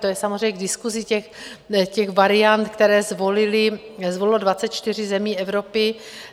To je samozřejmě k diskusi, těch variant, které zvolily, zvolilo 24 zemí Evropy.